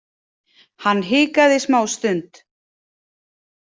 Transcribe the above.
Hann hikaði smástund.